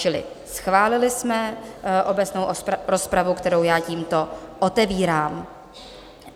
Čili schválili jsme obecnou rozpravu, kterou já tímto otevírám.